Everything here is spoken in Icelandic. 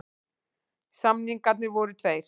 Samningarnir voru tveir